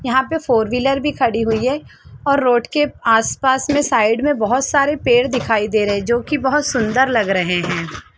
यहाँ पे four wheeler भी खड़ी हुई है और रोड के आस-पास में साइड में बहुत सारे पेड़ दिखाई दे रहे हैं जो की बहुत सूंदर लग रहे हैं।